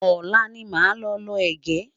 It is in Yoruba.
olá ní má ló ló ẹgẹ